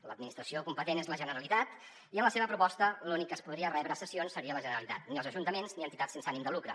l’administració competent és la generalitat i en la seva proposta l’única que podria rebre cessions seria la generalitat ni els ajuntaments ni entitats sense ànim de lucre